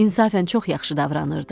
İnsafən çox yaxşı davranırdı.